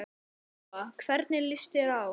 Lóa: Hvernig líst þér á?